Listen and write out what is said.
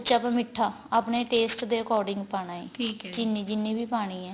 ਉਸ ਚ ਆਪਾਂ ਮੀਠਾ ਆਪਣੇ taste ਦੇ according ਪਾਣਾ ਏ ਚੀਨੀ ਵੀ ਪਾਣੀ ਏ